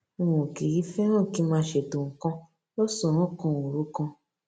n ò kì í féràn kí n máa ṣètò nǹkan lósànán kan òru kan